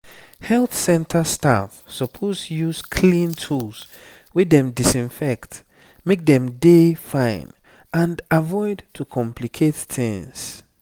health center staff suppose use clean tools wey dem disinfect make dem dey fine and avoid to complicate tings